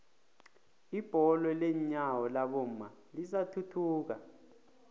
ibholo lenyawo labomma lisathuthuka